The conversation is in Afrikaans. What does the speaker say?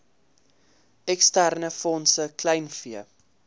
eksterne fondse kleinvee